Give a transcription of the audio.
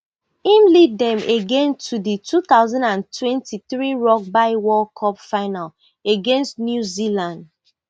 im lead dem again to di two thousand and twenty-three rugby world cup final against new zealand